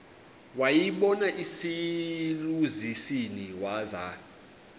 wayibona iselusizini waza